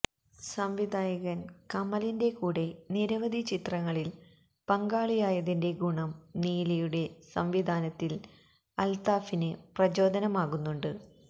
സംവിധായകന് കമലിന്റെ കൂടെ നിരവധി ചിത്രങ്ങളില് പങ്കാളിയായതിന്റെ ഗുണം നീലിയുടെ സംവിധാനത്തില് അല്ത്താഫിന് പ്രചോദനമാകുന്നുണ്ട്